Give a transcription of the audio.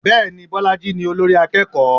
Bẹ́ẹ̀ni, Bọ́lájí ni olórí akẹ́kọ̀ọ́.